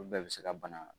Olu bɛɛ bɛ se ka bana